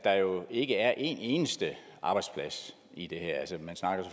der jo ikke er en eneste arbejdsplads i det her man snakker